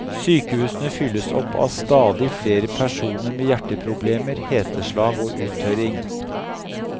Sykehusene fylles opp av stadig flere personer med hjerteproblemer, heteslag og uttørring.